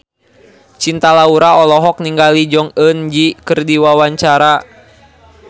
Cinta Laura olohok ningali Jong Eun Ji keur diwawancara